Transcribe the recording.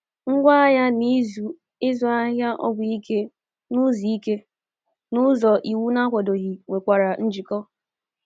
Ngwá agha na ịzụ ahịa ọgwụ ike n’ụzọ ike n’ụzọ iwu na-akwadoghị nwekwara njikọ.